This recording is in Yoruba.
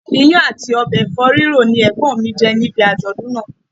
Iyán àti ọbẹ̀ Ẹ̀fọ́ ríro ni Ẹ̀gbọ́n mi jẹ níbi àjọ̀dún náà.